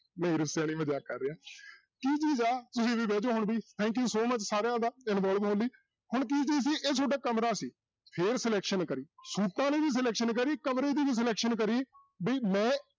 ਨਹੀਂ ਰੁੱਸਿਆ ਨੀ ਮਜ਼ਾਕ ਕਰ ਰਿਹਾਂ ਕੀ ਚੀਜ਼ ਆ ਤੁਸੀਂ ਵੀ ਬਹਿ ਜਾਓ ਹੁਣ ਵੀ thank you so much ਸਾਰਿਆਂ ਦਾ involve ਹੋਣ ਲਈ ਹੁਣ ਕੀ ਸੀ ਇਹ ਤੁਹਾਡਾ ਕਮਰਾ ਸੀ ਫਿਰ selection ਕਰੀ ਸੂਟਾਂ ਦੀ ਵੀ selection ਕਰੀ, ਕਮਰੇ ਦੀ ਵੀ selection ਕਰੀ ਵੀ ਮੈਂ